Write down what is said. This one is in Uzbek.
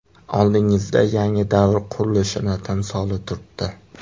Oldingizda yangi davr qurilishining timsoli turibdi.